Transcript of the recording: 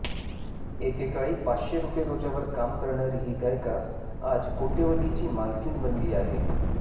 एकेकाळी पाचशे रुपये रोजावर काम करणारी ही गायिका आज कोट्यवधीची मालकीण बनली आहे